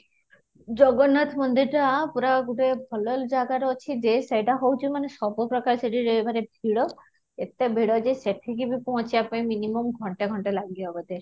ଜଗନ୍ନାଥ ମନ୍ଦିର ଟା ପୁରା ଗୋଟେ ଭଲ ଜାଗାରେ ଅଛି, ଯେ ସେଇଟା ହଉଛି ମାନେ ସବୁ ପ୍ରକାରରେ ସେଇଠି ମାନେ ଭିଡ, ଏତେ ଭିଡ଼ ଯେ ସେଠି କି ବି ପହଞ୍ଚିବା ପାଇଁ minimum ଘଣ୍ଟେ ଘଣ୍ଟେ ଲାଗିଯିବ ବୋଧେ